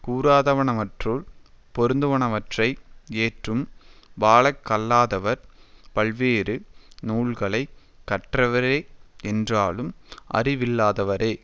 கூறாதனவற்றுள் பொருந்துவனவற்றை ஏற்றும் வாழக் கல்லாதவர் பல்வேறு நூல்களை கற்றவரே என்றாலும் அறிவில்லாதவரே